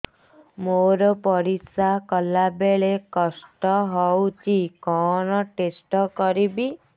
ମୋର ପରିସ୍ରା ଗଲାବେଳେ କଷ୍ଟ ହଉଚି କଣ ଟେଷ୍ଟ କରିବି